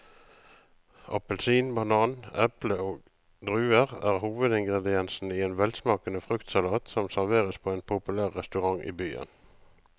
Appelsin, banan, eple og druer er hovedingredienser i en velsmakende fruktsalat som serveres på en populær restaurant i byen.